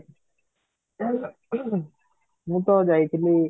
ମୁଁ ତ ଯାଇଥିଲି